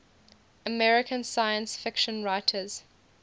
american science fiction writers